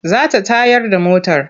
Za ta tayar da motar.